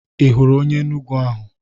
Ihụrụ onye Enugwu ahụ?